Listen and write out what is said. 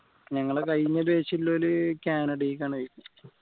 ഞങ്ങളെ കഴിഞ്ഞ batch ൽ ഒരു കാനഡ കാണ്